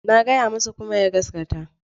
Na gaya masa kuma ya gaskata.